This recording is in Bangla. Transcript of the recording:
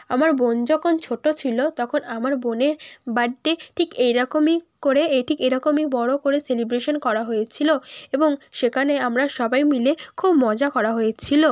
আমার বোন যখন ছোট ছিল তখন আমার বোনের বার্থডে ঠিক এরকমই করে এ ঠিক এরকমই বড় করে সেলিব্রেশন করা হয়েছিল এবং সেখানে আমরা সবাই মিলে খুব মজা করা হয়েছিল।